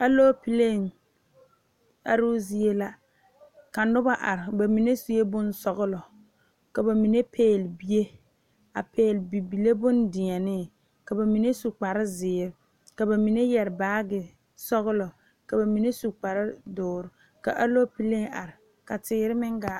Alɔpele are zie la ka noba are bamine suɛ bonsɔglɔ ka bamine pegle bie a pegle bibile bondeɛne ka bamine su kpare ziiri ka bamine yeere baagi sɔglɔ ka bamine su kpare doɔre ka alɔpele ka teere meŋ gaa.